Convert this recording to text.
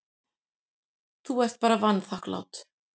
Þú ert bara vanþakklát.